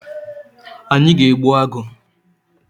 Anyị ga egbu agụ